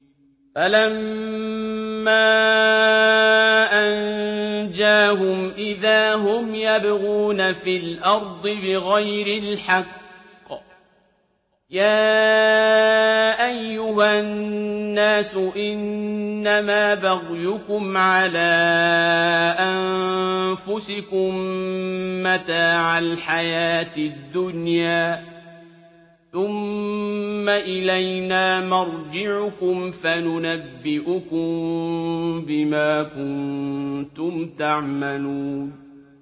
فَلَمَّا أَنجَاهُمْ إِذَا هُمْ يَبْغُونَ فِي الْأَرْضِ بِغَيْرِ الْحَقِّ ۗ يَا أَيُّهَا النَّاسُ إِنَّمَا بَغْيُكُمْ عَلَىٰ أَنفُسِكُم ۖ مَّتَاعَ الْحَيَاةِ الدُّنْيَا ۖ ثُمَّ إِلَيْنَا مَرْجِعُكُمْ فَنُنَبِّئُكُم بِمَا كُنتُمْ تَعْمَلُونَ